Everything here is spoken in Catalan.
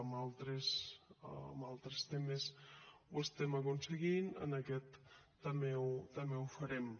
en altres temes ho estem aconseguint en aquest també ho farem